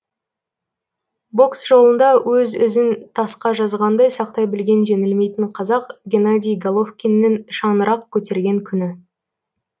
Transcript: бокс жолында өз ізін тасқа жазғандай сақтай білген жеңілмейтін қазақ генадий головкиннің шаңырақ көтерген күні